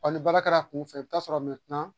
Ɔ ni baara kɛra kunfɛ i bɛ ta'a sɔrɔ